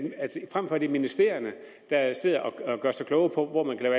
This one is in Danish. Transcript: frem for at det er ministerierne der sidder og gør sig kloge på hvor man kan